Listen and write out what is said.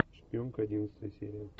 шпионка одиннадцатая серия